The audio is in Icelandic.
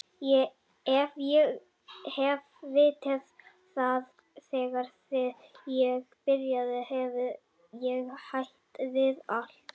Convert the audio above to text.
Ef ég hefði vitað það þegar ég byrjaði hefði ég hætt við allt.